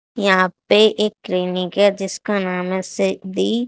यहाँ पर एक ट्रेनिगर है जिसका नाम है